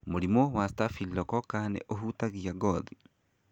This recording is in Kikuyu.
Mũrimũ wa Staphylococca nĩ uhutagia gothi.